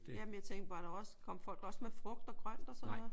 Jamen jeg tænkte bare der var også kom folk også med frugt og grønt og sådan noget?